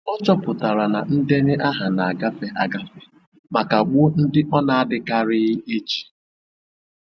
Ọ chọpụtara na ndenye aha na-agafe agafe ma kagbuo ndị ọ na-adịkarịghị eji.